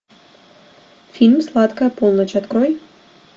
фильм сладкая полночь открой